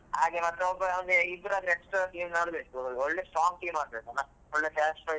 ಹಾಗೆ ಮತ್ತೊಬ್ಬ ಒಂದು ಇಬ್ರು ಆದ್ರೂ extra team ನವರು ಬೇಕು ಒಳ್ಳೆ strong team ಮಾಡ್ಬೇಕಲ ಒಳ್ಳೆ cash prize .